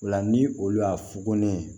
O la ni olu y'a fukonɛ